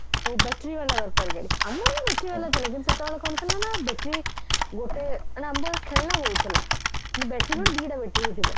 ସବୁ battery ବାଲା ଦରକାର ଗାଡି ଆମ ବେଳକୁ battery ବାଲା ଥିଲା କିନ୍ତୁ ସେତେବେଳେ କଣ ଥିଲା ନା battery ଗୋଟେ କାରଣ ଆମ ପାଖରେ ଖେଳଣା ବହୁତ ଥିଲା ମାନେ battery କଣ ଦିଟା battery ହି ଥିବ